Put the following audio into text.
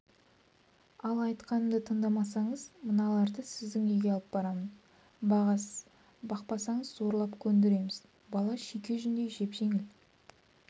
ал айтқанымды тыңдамасаңыз мыналарды сіздің үйге алып барамын бағасыз бақпасаңыз зорлап көндіреміз бала шүйке жүндей жеп-жеңіл